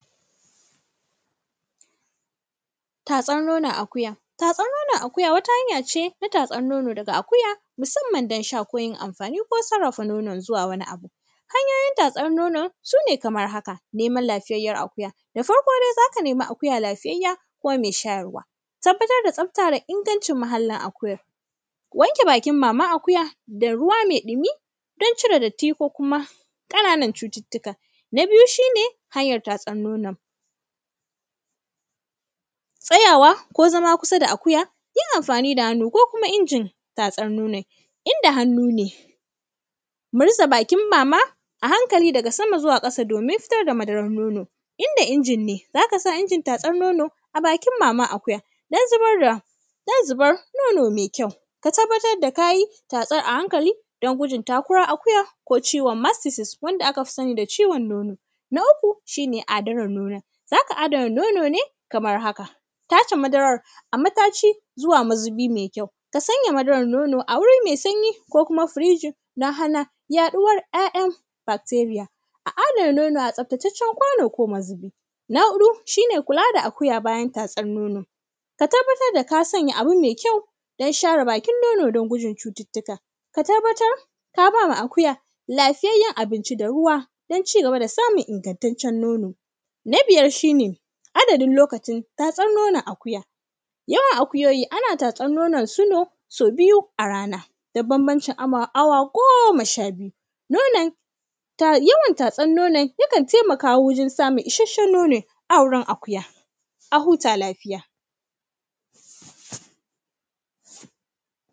Tsafta da ingancin mahallin akuyar, wanke bakin maman akuya da ruwa me ɗimi don cire datti ko kuma ƙananan cututtuka. Na biyu, shi ne hanyar tatsan nonon, tsayawa ko zama kusa da akuya, yin amfani da hannu ko kuma injin tatsan nonon. In da hannu ne, murza bakin mama a hankali daga sama zuwa ƙasa domin fitar da madarar nono. In da injin ne, za ka sa injin tatsar nono a bakin maman akuya don zubar da; don zubar nono me kyau. Ka tabbatar da ka yi tatsan a hankali don gudun takuwar akuya ko ciwon “mastitis” wanda aka fi sani da ciwon nono. Na uku, shi ne adanar nono, za ka adana nono ne kamar haka. Tace madarar a mataci zuwa mazubi me kyau. Ka sanya madarar nono a wuri me sanyi ko kuma “fridge” don hana yaɗuwar ’ya’yan “bacteria”. A adana nono a tsaftacaccen kwano ko mazubi. Na huɗu, shi ne kula da akuya bayan tatsar nono, ka tabbatar da ka sanya abu me kyau don share bakin nono don gudun cututtuka. Ka tabbatar ka ba wa akuya lafiyayyen abinci da ruwa don ci gaba da samun ingantaccen nono. Na biyar, shi ne adadin lokacin tatsar nonon akuya, yawan akuyoyi, ana tatsar nonosu ne sau biyu a rana. Dan bambancin awa; awa goma sha biyu. Nonon, yawan tatsan nonon, yakan taimaka wajen samun isasshen nono a wurin akuya, a huta lafiya.